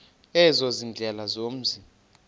ezo ziindlela zomzi